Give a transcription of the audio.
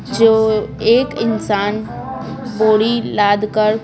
जो एक इंसान बोरी लादकर--